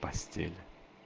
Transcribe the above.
постель